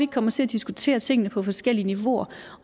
kommer til at diskutere tingene på forskellige niveauer